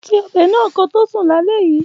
Ṣe ọbẹ̀ náà koto sùn lálẹ́ yìí